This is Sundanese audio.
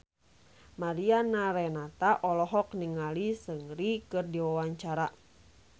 Mariana Renata olohok ningali Seungri keur diwawancara